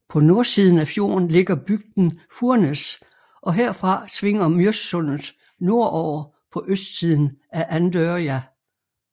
På nordsiden af fjorden ligger bygden Furnes og herfra svinger Mjøssundet nordover på østsiden af Andørja